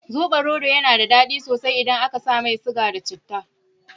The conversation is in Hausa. Sobarodo yana daɗi sosai idan aka sa mai siga da citta.